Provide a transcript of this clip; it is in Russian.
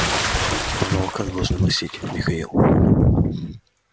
тебя на руках должны носить михаил